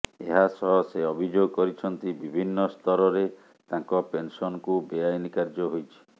ଏହା ସହ ସେ ଅଭିଯୋଗ କରିଛନ୍ତି ବିଭିନ୍ନ ସ୍ତରରେ ତାଙ୍କ ପେନସନକୁ ବେଆଇନ୍ କାର୍ଯ୍ୟ ହୋଇଛି